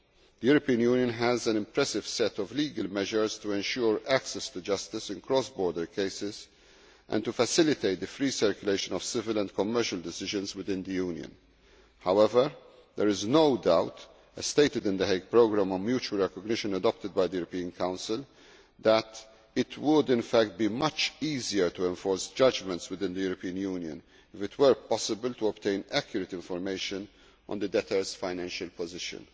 The European Union has an impressive set of legal measures to ensure access to justice in cross border cases and to facilitate the free circulation of civil and commercial decisions within the Union. However, there is no doubt as stated in the Hague programme on mutual recognition adopted by the European Council that it would in fact be much easier to enforce judgments within the European Union if it were possible to obtain accurate information on debtors' financial positions.